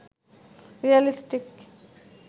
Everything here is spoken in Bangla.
রিয়ালিস্টিক